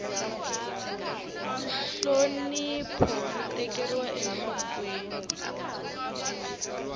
nhlonipho wu tekeriwa enhlokweni